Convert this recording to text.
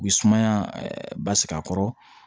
U bɛ sumaya ba sigi a kɔrɔ